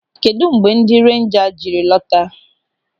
Kedụ mgbe ndị renja jiri lọta?